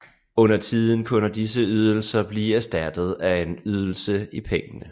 Undertiden kunne disse ydelser blive erstattet af en ydelse i penge